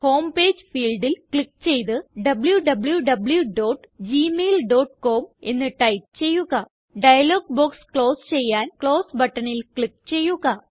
home page fieldല് click ചെയ്ത് wwwgmailcom എന്ന് ടൈപ്പ് ചെയ്യുക ഡയലോഗ് ബോക്സ് ക്ലോസ് ചെയ്യാൻ ക്ലോസ് ബട്ടണിൽ ക്ലിക്ക് ചെയ്യുക